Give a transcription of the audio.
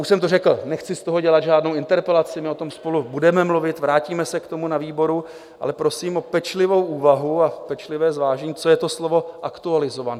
Už jsem to řekl, nechci z toho dělat žádnou interpelaci, my o tom spolu budeme mluvit, vrátíme se k tomu na výboru, ale prosím o pečlivou úvahu a pečlivé zvážení, co je to slovo "aktualizován"?